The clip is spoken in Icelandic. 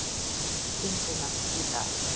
stundina í dag.